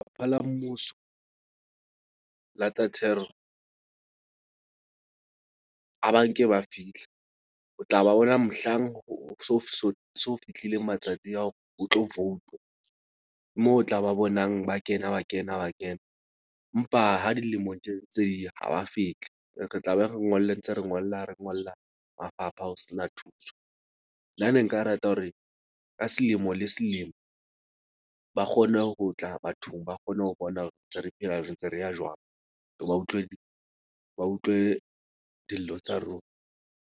La mmuso la tsa thero a ba nke ba fihla, o tla ba bona mohlang ho so fihlileng matsatsi ao o tlo vouta. Moo o tla ba bonang, ba kena ba kena, ba kena mpa ha dilemong tje ntse di ya ha ba fihli. Re tla be re ngolle ntse re ngolla re ngolla mafapha ho sena thuso. Nna ne nka rata hore ka selemo le selemo ba kgone ho tla bathong. Ba kgone ho bona hore ntse re phela, re ntse re ya jwang. Re ba utlwe ba utlwe dillo tsa rona.